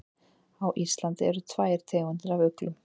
Á Íslandi eru tvær tegundir af uglum.